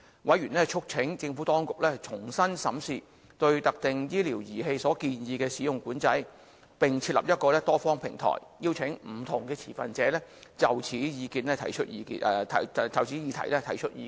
委員促請政府當局，重新審視對特定醫療儀器所建議的使用管制，並設立一個多方平台，邀請不同持份者就此議題提出意見。